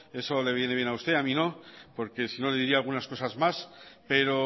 eso le viene bien a usted a mí no porque sino le diría algunas cosas más pero